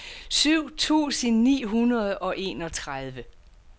syv tusind ni hundrede og enogtredive